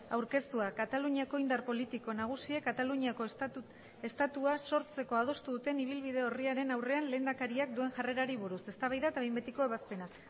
aurkeztua kataluniako indar politiko nagusiek kataluniako estatua sortzeko adostu duten ibilbide orriaren aurrean lehendakariak duen jarrerari buruz eztabaida eta behin betiko ebazpena